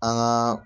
An gaa